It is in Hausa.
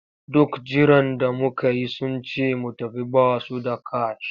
Duk jiran da muka yi sun ce mu tafi ba su da kash.